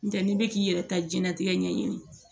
N tɛ n'i bɛ k'i yɛrɛ ka jɛnatigɛ ɲɛɲini